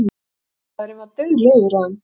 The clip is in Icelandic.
Búðarmaðurinn var dauðleiður á þeim.